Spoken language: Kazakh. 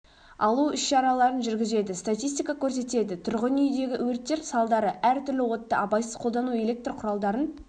алу ісшараларын жүргізеді статистика көрсетеді тұрғын үйдегі өрттер салдары әртүрлі отты абайсыз қолдану электр құралдарын